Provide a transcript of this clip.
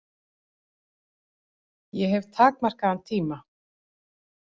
Ég hef takmarkaðan tíma.